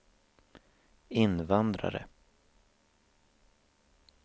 invandrare